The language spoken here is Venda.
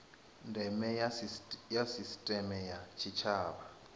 ndeme ya sisiteme ya tshitshavha